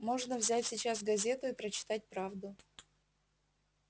можно взять сейчас газету и прочитать правду